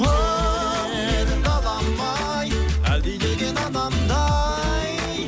оу менің далам ай әлдилеген анамдай